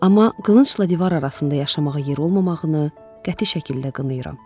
Amma qılıncla divar arasında yaşamağa yer olmamağını qəti şəkildə qınayıram.